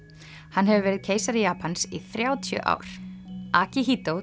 hann hefur verið keisari Japans í þrjátíu ár